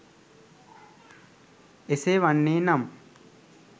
එසේ වන්නේ නම්